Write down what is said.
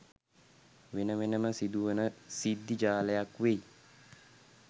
වෙන වෙනම සිදු වන සිද්ධි ජාලයක් වෙයි